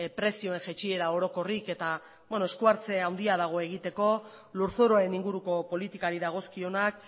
prezioen jaitsiera orokorrik eta beno eskuartze handia dago egiteko lurzoruaren inguruko politikari dagozkionak